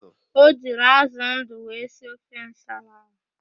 O jiri ázụ̀ ndụ wee sie ofe nsala ahụ.